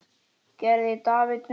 Gerði David mistök?